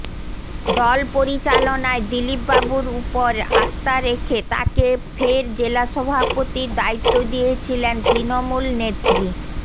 দল পরিচালনায় দিলীপবাবুর উপুরে আস্থা রেখে তাঁকে ফের জেলা সভাপতির দায়িত্ব দিয়েছিলেন তৃণমূল নেত্রী